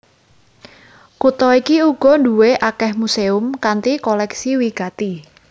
Kutha iki uga duwé akèh muséum kanthi kolèksi wigati